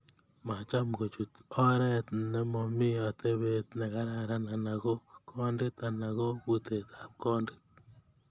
Macham kochut oret nemo mi atebet ne kararan anan ko kondit anan ko butetap kondit